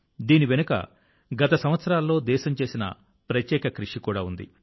దీని వెనుక గత సంవత్సరాల్లో దేశం చేసిన ప్రత్యేక కృషి కూడా ఉంది